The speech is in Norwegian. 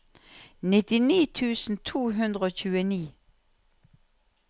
nittini tusen to hundre og tjueni